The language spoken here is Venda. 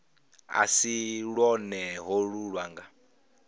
a si lwone holu lwanga